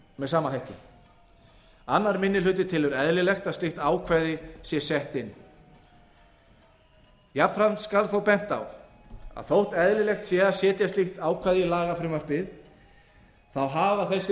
með sama hætti annar minni hluti telur eðlilegt að slíkt ákvæði sé sett inn jafnframt skal þó bent á að þótt eðlilegt sé að setja slíkt ákvæði í lagafrumvarpið hafa þessir